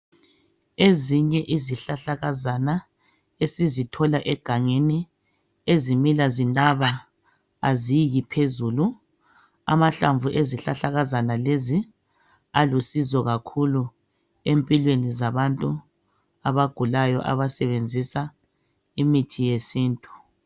Ezinye izihlahlakazana esizithola egangeni ezimila zinaba, aziyi phezulu. Amahlamvu ezihlahlakazana lezi alusizo empilweni zabantu abagulayo abasebenzisa imithi yesintu.